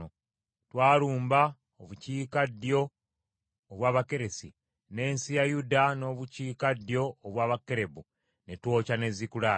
Twalumba obukiikaddyo obw’Abakeresi , n’ensi ya Yuda n’obukiikaddyo obwa Kalebu, ne twokya ne Zikulagi.”